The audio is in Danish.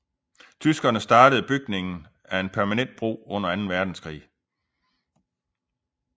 Tyskerne startede bygning af en permanent bro under anden verdenskrig